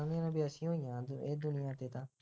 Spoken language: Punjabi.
ਹਾਂ ਬਈ ਅਸੀਂ ਨਹੀਂ ਜਾਣਦੇ ਇਹ ਦੁਨੀਆਂ ਤੇ ਤਾਂ